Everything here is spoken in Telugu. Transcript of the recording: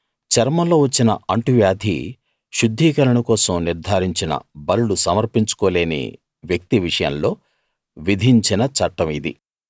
చర్మంలో వచ్చిన అంటువ్యాధి శుద్ధీకరణ కోసం నిర్ధారించిన బలులు సమర్పించుకోలేని వ్యక్తి విషయంలో విధించిన చట్టం ఇది